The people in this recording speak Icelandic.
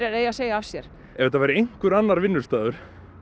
eigi að segja af sér ef þetta væri einhver annar vinnustaður